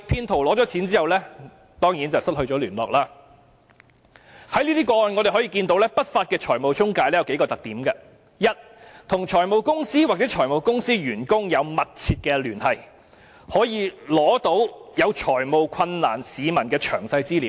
從這些個案中，我們可見不法的財務中介有數個特點：第一，與財務公司或財務公司員工有密切聯繫，可以取得有財務困難的市民的詳細資料。